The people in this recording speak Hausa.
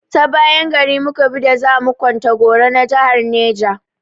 Ta bayan gari mu ka bi da za mu kwantagora na jahar Neja.